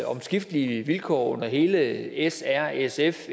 omskiftelige vilkår under hele srsf